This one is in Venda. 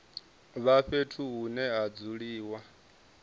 vha fhethu hune ha dzuliwa